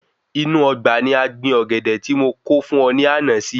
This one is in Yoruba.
Inú Ọgbà ni a gbin Ọ̀gẹ̀dẹ̀ tí mo kó fún ọ ní ànà si